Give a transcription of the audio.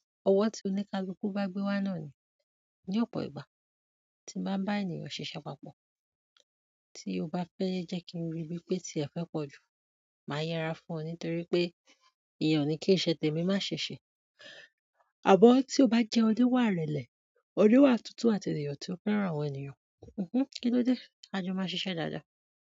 Ọwọ́ tí ó ní kaluku bá gbé wá náà ni. Ní ọ̀pọ̀ ìgbà tí n bá bá ènìyàn ṣiṣẹ́ papọ̀, tí o bá fẹ́ jẹ́ kí n rí bí pé tí ẹ fẹ́ pọ̀ jù, màá yẹra fún ẹ nítorí pé ìyẹn ni kí iṣe tèmi má ṣe ṣe. Àmọ́ tí o bá jẹ́ oníwà ìrẹ̀lẹ̀, oníwà tútù àti ènìyàn tí ó fẹ́ra àwọn ènìyàn. Hmm kí ló dé? A jọ máa ṣiṣẹ́ dáadáa.